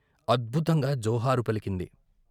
అద్భుతంగా జోహారు పలికింది.